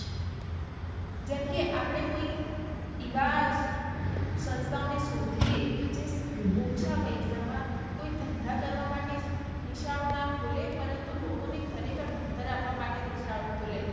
જેમકે આપળે કોઈ ઈવા સંસ્થાઓ ને શોધીયે જે ઓછા પૈસા માં કોઈ ધંધા કરવા માટે નિશાળો ના ખોલે પરંતુ લોકોને ખરે ખાર ભણતર આપવા માટે નિશાળ ખોલે.